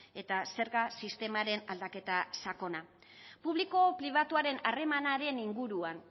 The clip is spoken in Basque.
eta zerga sistemaren aldaketa sakona publiko pribatuaren harremanaren inguruan